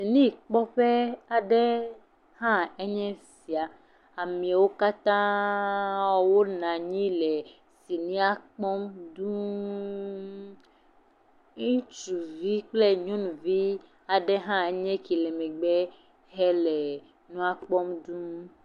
Sini kpɔƒe aɖe ny esi, amewo katã wonɔ anyi le sinia kpɔm dũu. Ŋutsuvi kple nyɔnuvi aɖee hã nye eke le megbe le nua kpɔm dũu.